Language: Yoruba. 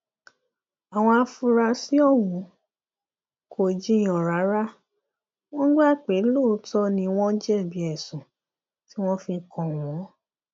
àwọn afurasí ọhún kò jiyàn rárá wọn gbà pé lóòótọ ni wọn jẹbi ẹsùn tí wọn fi kàn wọn